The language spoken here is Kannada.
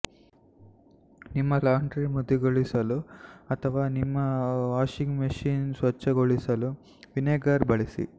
ನಿಮ್ಮ ಲಾಂಡ್ರಿ ಮೃದುಗೊಳಿಸಲು ಅಥವಾ ನಿಮ್ಮ ವಾಷಿಂಗ್ ಮಷಿನ್ ಸ್ವಚ್ಛಗೊಳಿಸಲು ವಿನೆಗರ್ ಬಳಸಿ